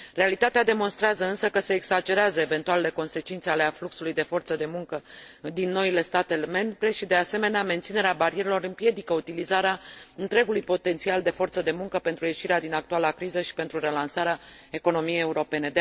Realitatea demonstrează însă că se exagerează eventualele consecințe ale afluxului de forță de muncă din noile state membre și, de asemenea, menținerea barierelor împiedică utilizarea întregului potențial de forță de muncă pentru ieșirea din actuala criză și pentru relansarea economiei europene.